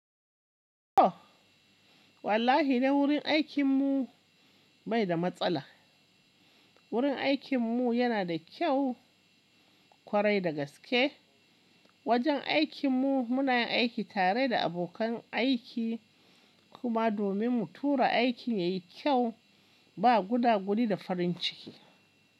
O wallahi ne wurin aikin mu bai da matsala. Wurin aikin mu yana da kyau kwarai da gaske. Wajen aikin mu muna yin aiki tare da abokan aiki kuma domin mu tura aikin ya yi kyau ba guda gudi da farin ciki.